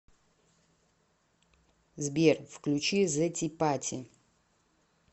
сбер включи зэ ти пати